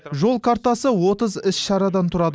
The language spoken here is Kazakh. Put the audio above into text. жол картасы отыз іс шарадан тұрады